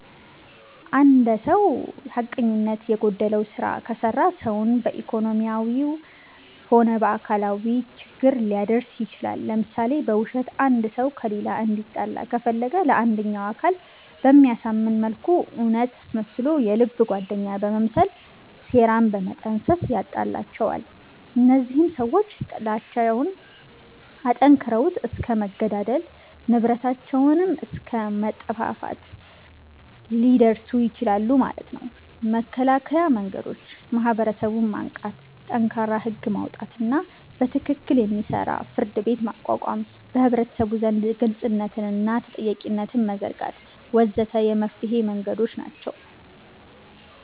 እንድ ሰዉ ሐቀኝነት የጎደለዉ ስራ ከሰራ ሰዉን በኢኮኖሚያዊም ሆነ በአካላዊ ችግር ሊያደርስ ይችላል ለምሳሌ፦ በዉሸት አንድ ሰዉ ከሌላ እንዲጣላ ከፈለገ ለአንደኛዉ አካል በሚያሳምን መልኩ እዉነት አስመስሎ የልብ ጓደኛ በመምሰል ሴራን በመጠንሰስ ያጣላቸዋል እነዚያም ሰዎች ጥላቻዉን አጠንክረዉት እስከ መገዳደል፣ ንብረታቸዉንም አስከ መጠፋፋት ሊደርሱ ይችላሉ ማለት ነዉ። መከላከያ መንገዶች፦ ማህበረሰቡን ማንቃት፣ ጠንካራ ህግ ማዉጣትና በትክክል የሚሰራ ፍርድቤት ማቋቋም፣ በህብረተሰቡ ዘንድ ግልፅነትንና ተጠያቂነትን መዘርጋት ወ.ዘ.ተ የመፍትሔ መንገዶች ናቸዉ።